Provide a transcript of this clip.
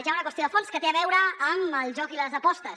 hi ha una qüestió de fons que té a veure amb el joc i les apostes